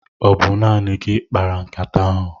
Ọ bụ naanị gị kpara nkata ahụ?